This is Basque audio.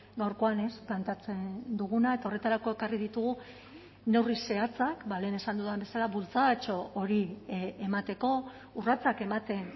gaurkoan planteatzen duguna eta horretarako ekarri ditugu neurri zehatzak lehen esan dudan bezala bultzadatxo hori emateko urratsak ematen